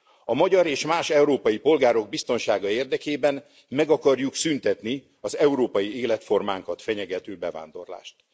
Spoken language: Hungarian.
A magyar és más európai polgárok biztonsága érdekében meg akarjuk szüntetni az európai életformánkat fenyegető bevándorlást.